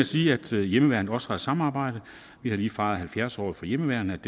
sige at hjemmeværnet også har et samarbejde vi har lige fejret halvfjerds året for hjemmeværnets